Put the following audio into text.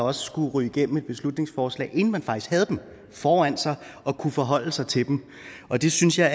også skulle ryge igennem med et beslutningsforslag inden man faktisk havde dem foran sig og kunne forholde sig til dem og det synes jeg